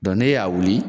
ne y'a wuli